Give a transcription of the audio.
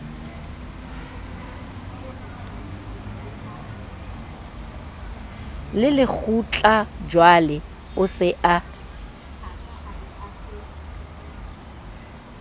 le lekgutlajwale o se a